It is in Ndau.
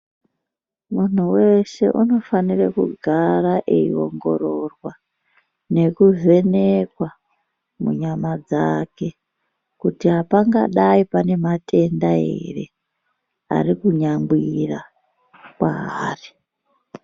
Munhu weshe unofanire kugara eiongororwa, nekuvhenekwa, munyama dzake kuti apangadai pane matenda ere ari kunyangwira kwaari.